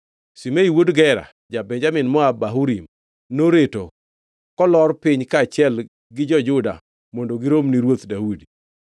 Shimei wuod Gera, ja-Benjamin moa Bahurim, noreto kolor piny kaachiel gi jo-Juda mondo girom ni Ruoth Daudi.